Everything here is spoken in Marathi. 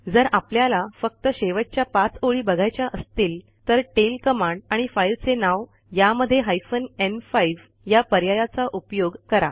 जर आपल्याला फक्त शेवटच्या 5 ओळी बघायच्या असतील तर टेल कमांड आणि फाईलचे नाव यामध्ये हायफेन न्5 या पर्यायाचा उपयोग करा